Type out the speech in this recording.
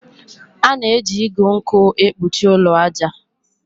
A na-eji igu nkwụ ekpuchi ụlọ aja.